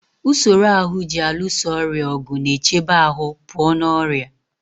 Usoro ahụ ji alụso ọrịa ọgụ na-echebe ahụ pụọ na ọrịa.